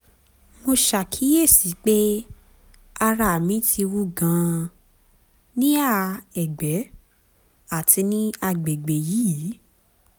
mo ṣàkíyèsí pé ara mi ti wú gan-an níhà ẹ̀gbẹ́ àti ní àgbègbè yìí